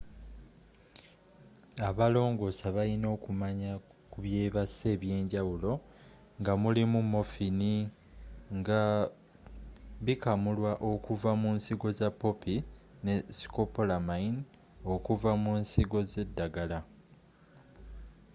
abalongoosa baliina okumanya ku byebasa eby'enjawulo nga mulimu morphine” nga bikamulwa okuva munsigo za poppy” ne scopolamine”e okuva mu nsigo zeddagala